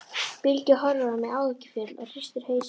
Bylgja horfir á mig áhyggjufull og hristir hausinn.